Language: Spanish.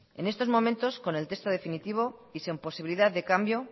en estos momentos con el texto definitivo y sin posibilidad de cambio